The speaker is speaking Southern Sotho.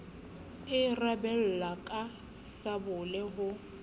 e rabella ka sabole ho